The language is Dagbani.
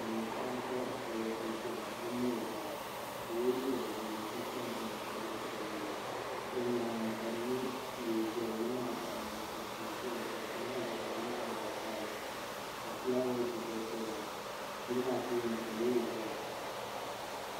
Silmiin paɣa n pa palli zuɣu n chana o mini o baa o yɛla liiga ʒee ka kpa ninkpara zaɣa sabinli o nyaanga ka bi mɛ yili zali yili maa baɣa la n ŋɔ ka tia saya ka tia maa vari ka di nyɛ zaɣa vakahili ka filaawaas gba saya yili maa tooni ka loori zaya.